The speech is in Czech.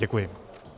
Děkuji.